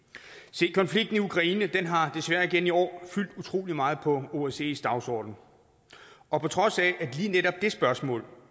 se konflikten i ukraine har desværre igen i år fyldt utrolig meget på osces dagsorden og på trods af at lige netop det spørgsmål